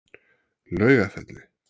Laugafelli